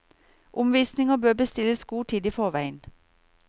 Omvisninger bør bestilles god tid i forveien.